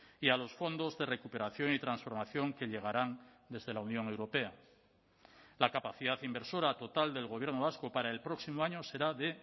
y a los fondos de recuperación y transformación que llegarán desde la unión europea la capacidad inversora total del gobierno vasco para el próximo año será de